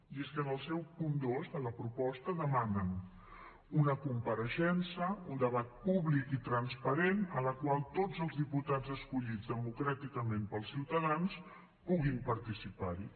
i és que en el seu punt dos de la proposta demanen una compareixença un debat públic i transparent en la qual tots els diputats escollits democràticament pels ciutadans puguin participar hi